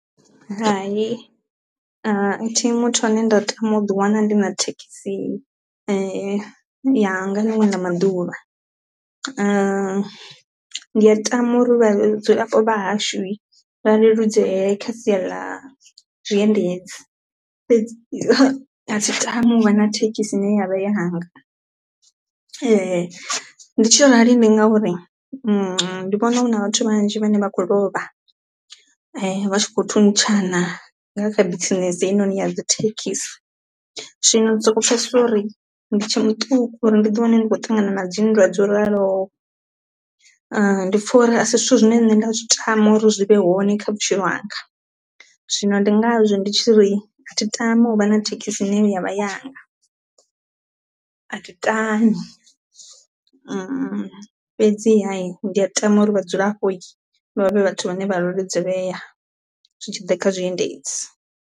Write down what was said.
Hai ha thi muthu ane nda tama u ḓi wana ndi na thekhisini yanga linwe la maduvha. Ndi a tama uri vha dzula vhuponi vha hashu vha leludzee kha sia ḽa zwiendedzi fhedzi a thi tami u vha na thekhisi i ne ya vha yanga, ndi tshi arali ndi ngauri ndi vhona hu na vhathu vhanzhi vhane vha khou lovha vha tshi kho thuntshana nga kha bisinese heinoni ya dzo thekhisi. Zwino ndi soko pfhesesa uri ndi tshe muṱuku uri ndi ḓi wane ndi khou ṱangana na dzinndwa dzo ralo, ndi pfha uri a si zwithu zwine nṋe nda zwi tama uri zwi vhe hone kha vhutshilo hanga zwino ndi ngazwo ndi tshi ri thi tami u vha na thekhisi ine ya vha yanga a thi tami fhedziha hi ndi a tama uri vha dzilapo vha vhavhe vhathu vhane vha leludzelelea zwitshiḓa kha zwiendedzi.